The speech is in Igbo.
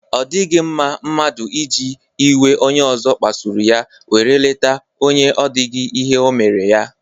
O dighi mma mmadu iji iwe onye ozo kpasuru ya were leta onye o dighi ihe o mere ya.